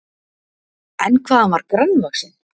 En hvað hann var grannvaxinn!